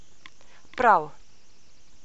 Prav.